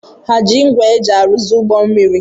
Ha eji ngwa eji arụzi ụgbọ mmiri?